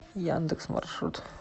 яндекс маршрут